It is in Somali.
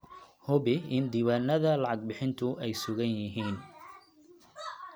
Hubi in diiwaannada lacag-bixintu ay sugan yihiin.